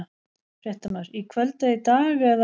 Fréttamaður: Í kvöld eða í dag eða?